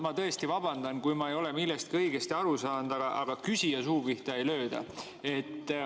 Ma tõesti vabandan, kui ma ei ole millestki õigesti aru saanud, aga küsija suu pihta ei lööda.